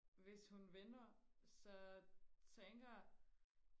hvis hun vinder så tænker